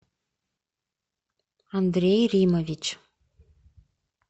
андрей римович